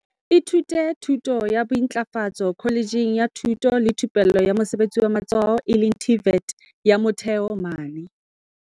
ithutile thuto ya bointlafatso kholetjheng ya thuto le thupello ya mosebetsi wa matsoho, TVET, ya Motheo mane